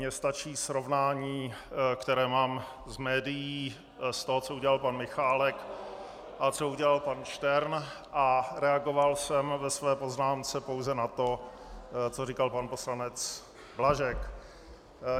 Mně stačí srovnání, které mám z médií, z toho, co udělal pan Michálek a co udělal pan Štern, a reagoval jsem ve své poznámce pouze na to, co říkal pan poslanec Blažek.